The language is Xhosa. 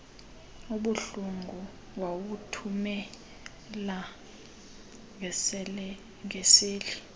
obuhlungu wawuthumela ngeseli